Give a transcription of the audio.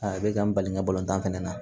A bɛ ka n bali n ka balontan fana na